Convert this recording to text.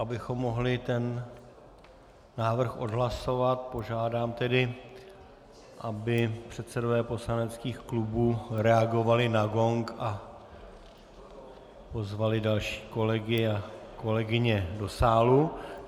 Abychom mohli tento návrh odhlasovat, požádám tedy, aby předsedové poslaneckých klubů reagovali na gong a pozvali další kolegy a kolegyně do sálu.